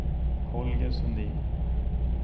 Holger Sundin